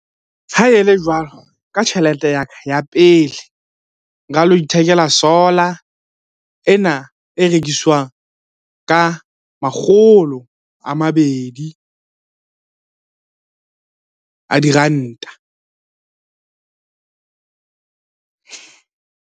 Ha e le jwalo, ka tjhelete ya ka ya pele nka lo ithekela solar ena e rekiswang ka makgolo a mabedi a diranta.